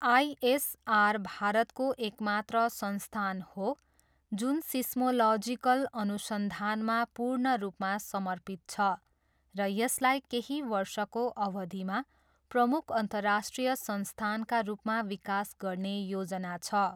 ISR भारतको एकमात्र संस्थान हो जुन सिस्मोलजिकल अनुसन्धानमा पूर्ण रूपमा समर्पित छ र यसलाई केही वर्षको अवधिमा प्रमुख अन्तर्राष्ट्रिय संस्थानका रूपमा विकास गर्ने योजना छ।